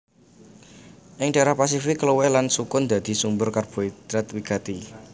Ing dhaérah Pasifik kluwih lan sukun dadi sumber karbohidrat wigati